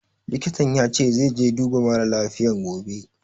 Likitan ya ce zai je duba mara lafiyan gobe